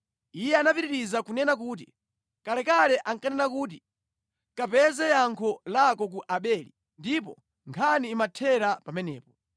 Iye anapitiriza kunena kuti, “Kalekale ankanena kuti, ‘Kapeze yankho lako ku Abeli,’ ndipo nkhani imathera pamenepo.